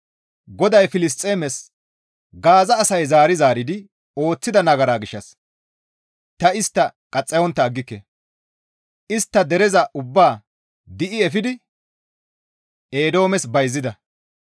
GODAY Filisxeemes, «Gaaza asay zaari zaaridi ooththida nagara gishshas ta istta qaxxayontta aggike; istta dereza ubbaa di7i efidi Eedoomes bayzida.